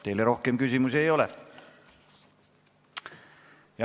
Teile rohkem küsimusi ei ole.